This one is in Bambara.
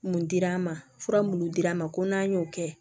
Mun dira an ma fura munnu dir'an ma ko n'an y'o kɛ